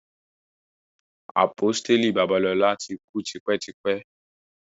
Àpọ́stélì Babalola ti kú tipẹ́ tipẹ́.